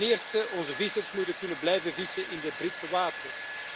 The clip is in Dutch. Ten eerste onze vissers moeten kunnen blijven vissen in de Britse wateren.